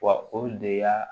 Wa o de y'a